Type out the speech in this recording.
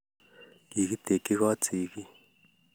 Kigitekchi koot sigiik